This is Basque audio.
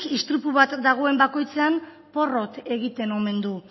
istripu bat dagoen bakoitzean porrot egiten omen du